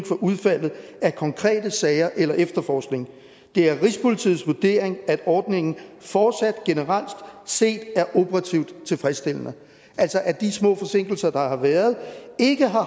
for udfaldet af konkrete sager eller efterforskninger det er rigspolitiets vurdering at ordningen fortsat generelt set er operativt tilfredsstillende altså at de små forsinkelser der har været ikke har